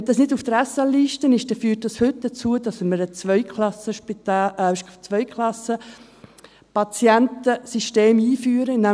Wenn es nicht auf der SL ist, führt dies heute dazu, dass wir ein Zweiklassenpatientensystem einführen.